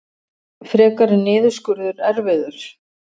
Frekari niðurskurður erfiður